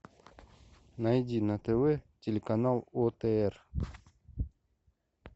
найди на тв телеканал отр